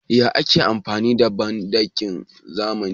Yaya ake amfani da banɗakin zamani?